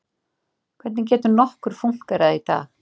Hvernig getur nokkur fúnkerað í dag?